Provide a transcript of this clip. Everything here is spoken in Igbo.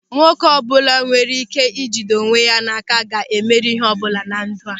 Nwoke ọbụla nwere ị́ké ị jide onwe ya áká ga-emeri ịhe ọbụla na ndụ a.